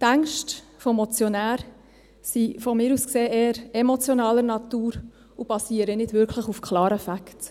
Die Ängste des Motionärs sind aus meiner Sicht eher emotionaler Natur und basieren nicht wirklich auf klaren Facts.